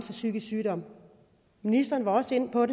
en psykisk sygdom ministeren var også inde på